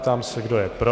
Ptám se, kdo je pro.